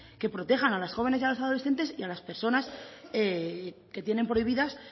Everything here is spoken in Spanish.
que protejan a las jóvenes y a los adolescentes y a las personas que tienen prohibidas